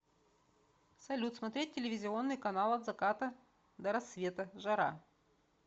салют смотреть телевизионный канал от заката до рассвета жара